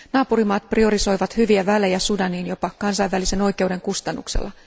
Naapurimaat priorisoivat hyviä välejä Sudaniin jopa kansainvälisen oikeuden kustannuksella.